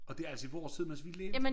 Og det altså i vores tid mens vi levede